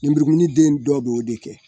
Ninbrikununi den dɔ bɛ o de kɛ.